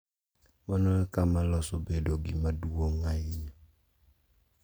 Mano e kama loso bedo gima duong’ ahinya.